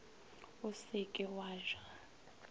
o se ke wa ja